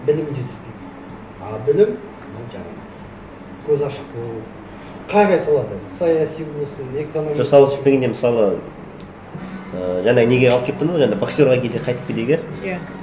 білім жетіспейді а білім жаңағы көзі ашық болу қай қай салада саяси болсын экономика жоқ сауатшылық дегенде мысалы і жаңағы неге алып келіп тұрмыз жаңағы боксерге келе қайтып келейік иә